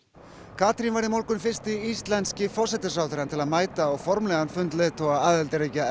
Katrín varð í morgun fyrsti íslenski forsætisráðherrann til að mæta á formlegan fund leiðtoga aðildarríkja